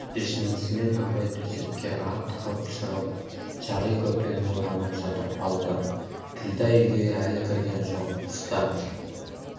шешінісімен абай төсекке атқып шығып шағи көрпені оранып жатып қалды ділдә үйге әлі кірген жоқ тыста